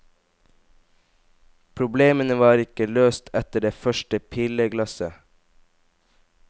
Problemene var ikke løst etter det første pilleglasset.